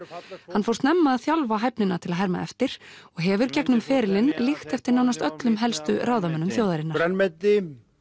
hann fór snemma að þjálfa hæfnina til að herma eftir og hefur gegnum ferilinn líkt eftir nánast öllum helstu ráðamönnum þjóðarinnar grænmeti